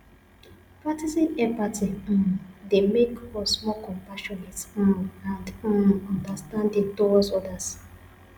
practicing empathy um dey make us more compassionate um and um understanding towards odas